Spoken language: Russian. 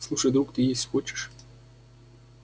слушай друг ты есть хочешь